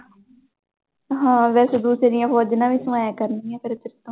ਹਾਂ ਵੈਸੇ ਦੂਸਰੀਆਂ ਫੋਜ਼ਣਾਂ ਵੀ ਸਮਾਇਆ ਕਰਨੀਆਂ ਫਿਰ ਤੈਥੋਂ।